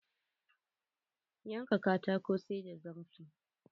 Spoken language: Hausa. Dole ne wuƙan kafinta na da kaifi.